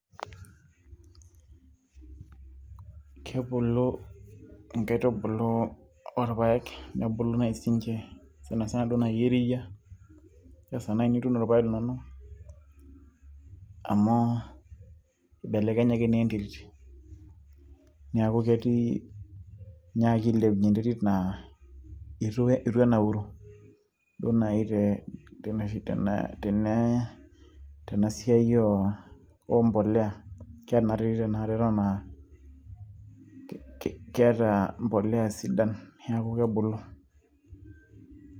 Kebulu inkaitubulu orpayek nebulu naaji sininche sanasana duo naaji eriyia esaa naaji nituuno irpayek linono amu ibelekenyaki naa enterit niaku ketii, inyiakaki ailepunyie enterit naa itu enauru duo naaji tenoshi tena, tenasiai oompoleya kenaterit tenakata eton aa kee keeta mpoleya sidan neeku kebulu.